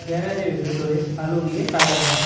গ্যারাজের ভেতরে আলো দিয়ে সাজানো।